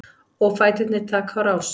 Og fæturnir taka á rás.